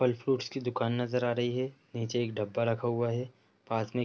फल फ्रूटस की दुकान नजर आ रही है | निचे एक डब्बा रखा हुआ है | पास में एक --